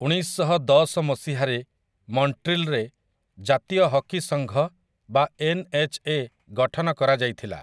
ଉଣେଇଶଶହଦଶ ମସିହାରେ, ମନ୍ଟ୍ରିଲ୍ ରେ ଜାତୀୟ ହକି ସଂଘ ବା ଏନ୍ଏଚ୍ଏ ଗଠନ କରାଯାଇଥିଲା ।